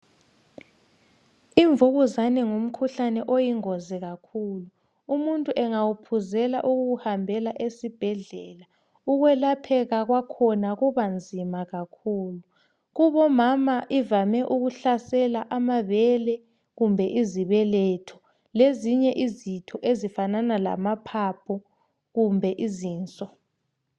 imvukuzane ngumkhuhlane oyingozi kakhulu umutnu engawuphuzela ukuwuhambela esibhedlela ukwelapheka kwakhona kuba nzima kakhulu kubo mama ivame ukuhlasela amabele kumbe izibeletho lezinye izitho ezifana lamaphaphu lezinso